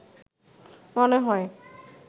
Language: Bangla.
মনে হয়